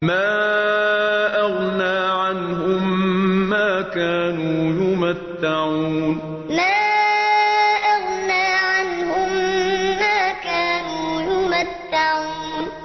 مَا أَغْنَىٰ عَنْهُم مَّا كَانُوا يُمَتَّعُونَ مَا أَغْنَىٰ عَنْهُم مَّا كَانُوا يُمَتَّعُونَ